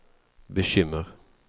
bekymmer